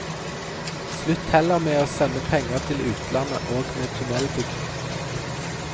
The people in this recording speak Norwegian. Slutt heller med å sende penger til utlandet og med tunnelbygging.